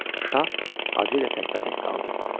Şah Hacı ilə təkbətək qaldı.